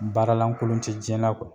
Baara lankolon te jiɲɛ na